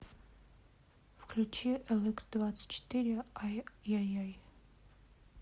включи эликсдвадцатьчетыре ай яй яй